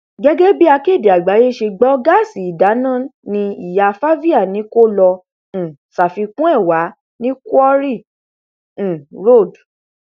gẹgẹ bí akéde àgbáyé ṣe gbọ gáàsì ìdáná ní ìyá favia ni kó lọọ um ṣàfikún ẹ wà ní quarry um road